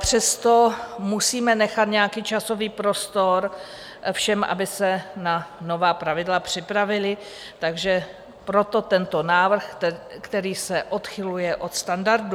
Přesto musíme nechat nějaký časový prostor všem, aby se na nová pravidla připravili, takže proto tento návrh, který se odchyluje od standardu.